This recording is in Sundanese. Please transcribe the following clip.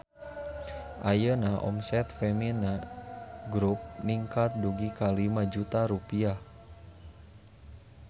Ayeuna omset Femina Grup ningkat dugi ka 5 juta rupiah